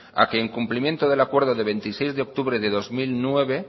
a que en cumplimiento del acuerdo del veintiséis de octubre de dos mil nueve